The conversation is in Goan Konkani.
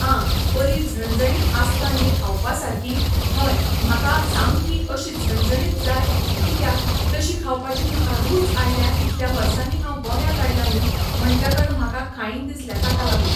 आं बरी झणझणीत आसता न्ही खावपा सारकी हय म्हाका सामकी अशी झणझणीत जाय कित्याक तशी खावपाची म्हाका रूच आयला इतल्या वर्सांनी हांव गोंयांत आयलां न्ही म्हणटकर म्हाका खायन दिसल्या ताका लागून